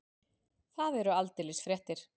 Það eru aldeilis fréttir.